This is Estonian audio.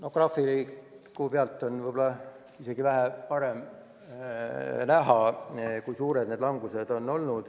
Graafiku pealt on võib-olla isegi paremini näha, kui suur see langus on olnud.